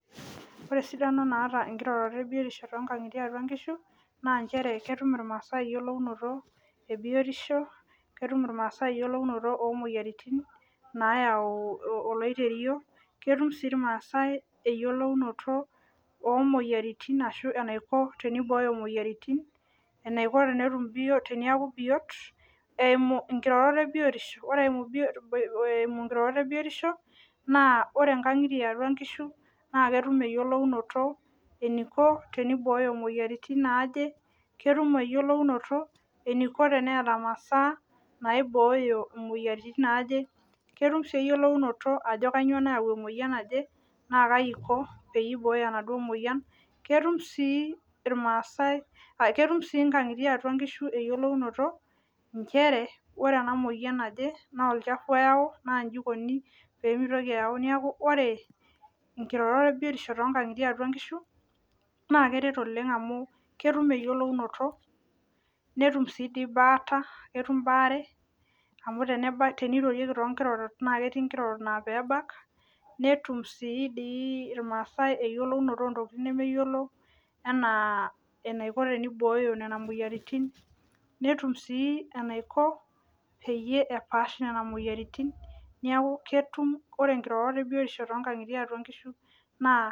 Ore esidano naata nkirorot ebiotisho tiatua nkishu na ketum irmaasai eyiolounoto ebiotisho ketum ai irmaasai eyiolounoto imoyiaritin enaiko teneaku biot eimu nkirorot ebiotisho ore eimu nkirorot ebiotisho ore nkangitie eatua nkishu na ketum eretoto enikobteniboyo moyiaritin naje ketum eyiolounoto eniko teneeta masaa naibooyo moyiaritin naje ketum eyiolounoto ajo kaiko peibooyo enaduo moyian ketum si irmaasai ketum si nkangitie nchere ore enamoyian naje na olchafu oyau na inji ikuni pemitoki aaku neaku ore nkirorot ebiotisho tiatua nkishu na keret oleng amu ketum eyiolounoto netum baata netum baare na ketii nkirorot na kebak natum si irmaasai eyiolounoto ontokitin ana enaiko peibooyo nona moyiaritin netum enaiko peyie epaash nona moyiaritin neaku ketum neaku ore nkirorot ebiotisho tiatua nkishu na